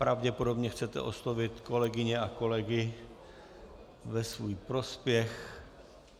Pravděpodobně chcete oslovit kolegyně a kolegy ve svůj prospěch.